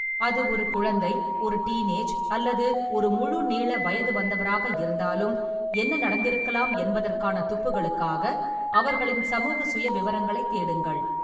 அது ஒரு குழந்தை, ஒரு டீன் ஏஜ், அல்லது ஒரு முழு நீள வயது வந்தவராக இருந்தாலும், என்ன நடந்திருக்கலாம் என்பதற்கான துப்புகளுக்காக அவர்களின் சமூக சுயவிவரங்களைத் தேடுங்கள்.